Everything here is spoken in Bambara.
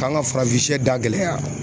K'an ka da gɛlɛya